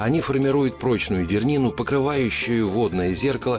они формируют прочную дернину покрывающую водное зеркало